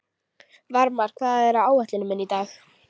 Varmar, hvað er á áætluninni minni í dag?